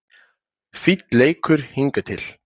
Fínn leikur hingað til